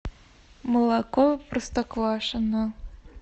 молоко простоквашино